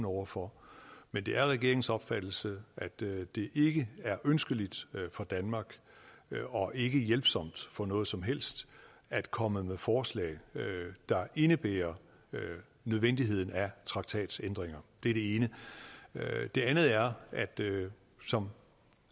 over for men det er regeringens opfattelse at det det ikke er ønskeligt for danmark og ikke er hjælpsomt for noget som helst at komme med forslag der indebærer nødvendigheden af traktatændringer det er det ene det andet er at det jo som